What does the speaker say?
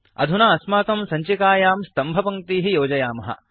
अधुना अस्माकं सञ्चिकायां स्तम्भपङ्क्तीः योजयामः